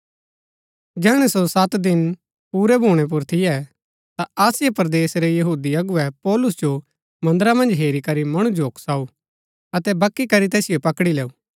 जैहणै सो सत दिन पुरै भूणै पुर थियै ता आसिया परदेस रै यहूदी अगुवै पौलुस जो मन्दरा मन्ज हेरी करी मणु जो उकसाऊ अतै वकी करी तैसिओ पकड़ी लैऊ